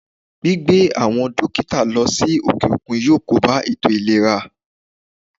Gbígbé àwọn dókítà lọ sí òkè òkun yọ kóbá ètò ìlera